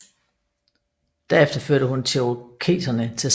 Derefter førte hun cherokeserne til sejr i slaget